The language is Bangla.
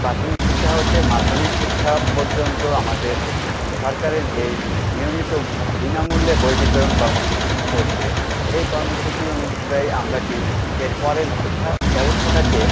প্রাথমিক শিক্ষা হতে মাধ্যমিক শিক্ষা পর্যন্ত আমাদের সরকারের যে নিয়মিত বিনামূল্যে বই বিতরণ কর্মসূচিটি চলছে সেই কর্মসূচি অনুযায়ী আমরা কী এর পরের শিক্ষাব্যবস্থাটাকে